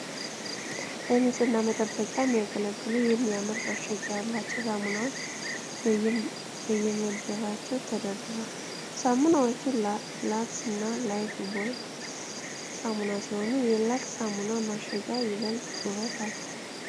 ለንጽህና መጠበቂያ የሚያገለግሉ የሚያማምር ማሸጊያ ያላቸው ሳሙናዎች በየመደባቸው ተደርድረዋል። ሳሙናዎቹ ላክስ እና ላይፍቦይ ሳሙና ሲሆኑ የላክስ ሳሙናው ማሸጊያ ይበልጥ ዉበት አለው።